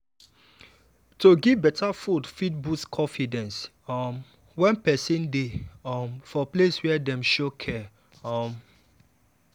to give better food fit boost confidence um when person dey um for place wey dem show care. um